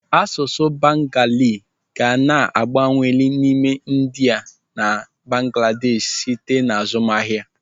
Asụsụ bengali ga na-abawanye n'ime India na Bangladeshi site n'azụmahịa.